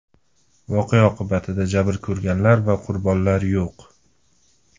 Voqea oqibatida jabr ko‘rganlar va qurbonlar yo‘q.